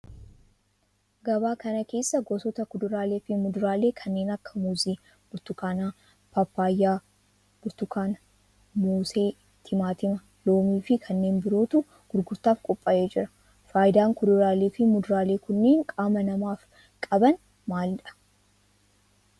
Gabaa kana keessa gosoota kuduraalee fi muduraalee kanneen akka muuzii, burtukaana, paappayyaa, burtukaana, moosee, timaatima, loomii fi kanneen birootu gurgurtaaf qophaa'ee jira. Faayidaan kuduraalee fi muduraalee kunneen qaama namaaf qaban maalidha?